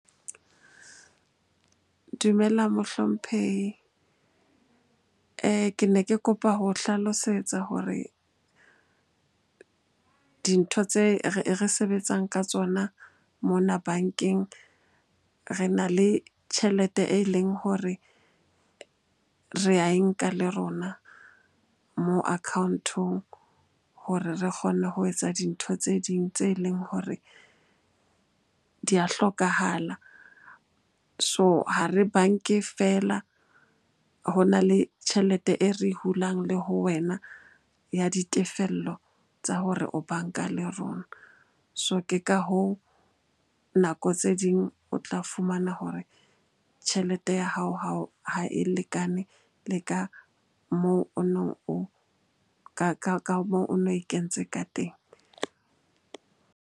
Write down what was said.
Dumela mohlomphehi. Ke ne ke kopa ho hlalosetsa hore dintho tse re sebetsang ka tsona mona bankeng. Re na le tjhelete e leng hore re ae nka le rona moo account-ong hore re kgone ho etsa dintho tse ding tse leng hore di a hlokahala. So ha re bank-e feela, ho na le tjhelete e re hulang le ho wena ya ditefello tsa hore o banka le rona. So, ke ka hoo nako tse ding o tla fumana hore tjhelete ya hao ha e lekane le ka moo o neng, ka moo o no e kentse ka teng.